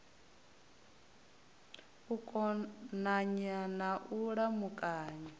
u konanya na u lamukanya